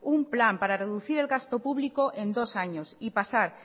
un plan para reducir el gasto público en dos años y pasar